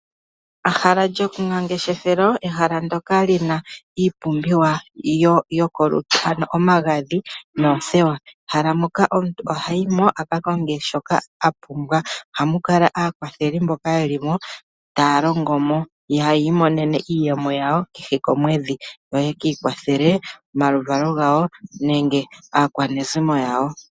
Ehala lyomangeshefelo moka muna iipumbiwa yokulutu ngaashi omagadhi noothewa, ehala moka omuntu hayi mo aka konge shoka a pumbwa. Ohamu kala aakwatheli mboka ye li mo taya longo mo, yo taya imonene iiyemo yawo kehe komwedhi yo yaka kwathele omaluvalo gawo nenge aakwanezimo yawo.